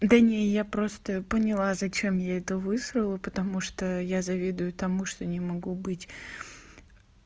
да не я просто поняла зачем я это высрала потому что я завидую тому что не могу быть